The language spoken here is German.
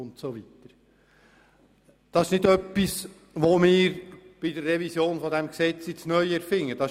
Es ist nicht etwas, was wir jetzt bei der Revision des Gesetzes neu erfinden würden.